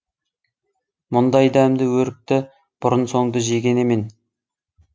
мұндай дәмді өрікті бұрын соңды жеген емен